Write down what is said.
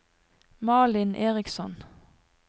Malin Eriksson